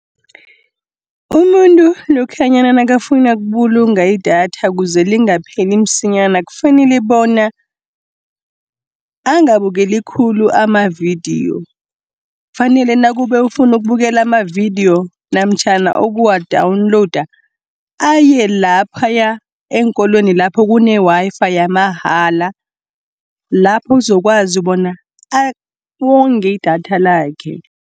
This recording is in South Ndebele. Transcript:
Umuntu lokhanyana nakafuna ukubulunga idatha kuze lingapheli msinyana kufanele bona, angabukeli khulu amavidiyo. Kufanele nakube ufuna ukubukela amavidiyo, namtjhana okuwa-downloada, aye laphaya eenkolweni lapho kune-Wi_Fi yamahala, lapho uzokwazi bona awonge idatha lakhe.